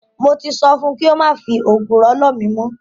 Mo ti sọ fun kí ó má fi ògùrọ̀ lọ̀ mí mọ́.